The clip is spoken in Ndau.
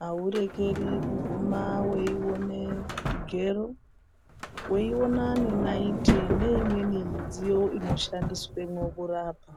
haurekeri kuguma weione zvigero, weiona nenayiti neimweni midziyo inoshandiswemwo kurapa.